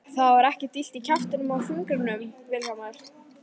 Er þér ekkert illt í kjaftinum og fingrinum Vilhjálmur?